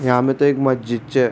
यह मे तो एक मस्जिद छे।